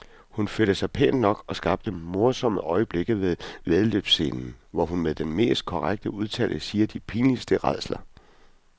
Hun førte sig pænt nok og skabte morsomme øjeblikke ved væddeløbsscenen, hvor hun med den mest korrekte udtale siger de pinligste rædsler.